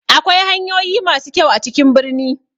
Akwai hanyoyi ma su kyau a cikin birni.